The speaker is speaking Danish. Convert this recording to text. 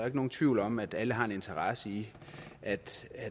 ikke nogen tvivl om at alle har en interesse i at